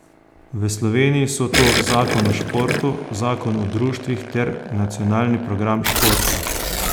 V Sloveniji so to zakon o športu, zakon o društvih ter nacionalni program športa.